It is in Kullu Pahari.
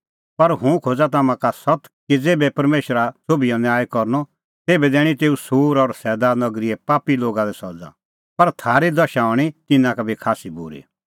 पर हुंह खोज़ा तम्हां का सत्त कि ज़ेभै परमेशरा सोभिओ न्याय करनअ तेभै दैणीं तेऊ सूर और सैदा नगरीए पापी लोगा लै सज़ा पर थारी दशा हणीं तिन्नां का बी खास्सी बूरी